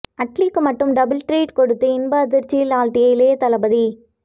அட்லிக்கு மட்டும் double treat கொடுத்து இன்ப அதிர்ச்சியில் ஆழ்த்திய இளையதளபதி